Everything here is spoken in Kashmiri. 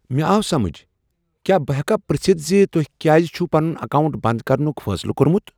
مےٚ آو سمجھ۔ کیا بہٕ ہؠکہٕ پرژھتھ ز تۄہِہ کیٛازِ چھ پنن اکاونٹ بنٛد کرنک فٲصلہٕ کوٚرمت۔